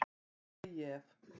Það væri lygi ef.